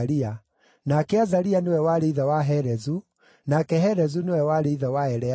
nake Azaria nĩwe warĩ ithe wa Helezu, nake Helezu nĩwe warĩ ithe wa Eleasa,